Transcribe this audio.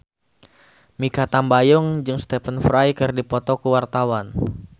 Mikha Tambayong jeung Stephen Fry keur dipoto ku wartawan